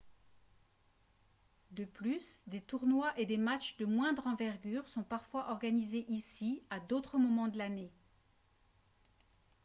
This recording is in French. de plus des tournois et des matchs de moindre envergure sont parfois organisés ici à d'autres moments de l'année